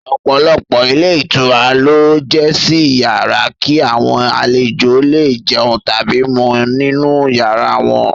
Ọpọ̀lọpọ̀ ilé ìtura ló ń jísẹ́ iyàrá, kí àwọn àlejò lẹ è jẹun tàbí mu nínu yàrá wọn.